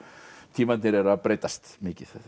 tímarnir eru að breytast mikið